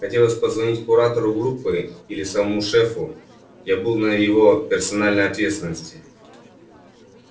хотелось позвонить куратору группы или самому шефу я был на его персональной ответственности